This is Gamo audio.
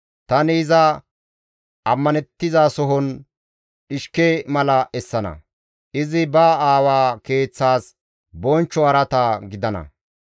Tani iza ammanettizasohon dhishke mala essana; izi ba aawa keeththas bonchcho araata gidana.